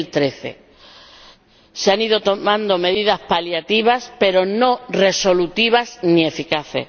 2013. Se han ido tomando medidas paliativas, pero no resolutivas ni eficaces.